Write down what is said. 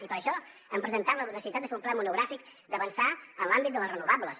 i per això hem presentat la necessitat de fer un ple monogràfic d’avançar en l’àmbit de les renovables